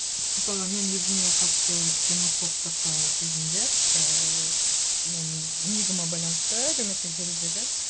мысалы мен өзіме қатысты ксенофобтық і сезімдер ііі менің нигыма байланысты әлеуметтік желідегі